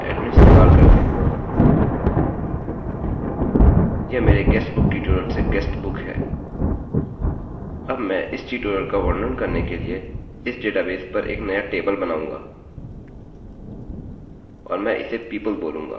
अब मैं इस ट्यूटोरियल का वर्णन करने के लिए इस डेटाबेस पर एक नया टेबल बनाऊँगा और मैं इसे people बोलूँगा